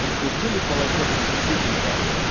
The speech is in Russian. прикрутили полотенцесушитель то